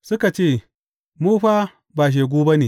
Suka ce, Mu fa ba shegu ba ne.